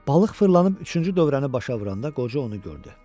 Balıq fırlanıb üçüncü dövrəni başa vuranda qoca onu gördü.